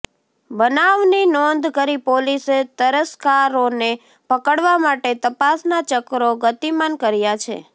બનાવની નોંધ કરી પોલીસે તસ્કરોને પકડવા માટે તપાસના ચક્રો ગતિમાન કર્યા છે